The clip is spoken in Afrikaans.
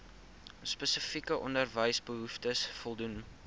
spesifieke onderwysbehoeftes voldoen